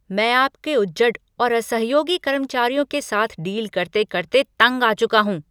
मैं आपके उजड्ड और असहयोगी कर्मचारियों के साथ डील करते करते तंग आ चुका हूँ।